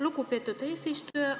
Lugupeetud eesistuja!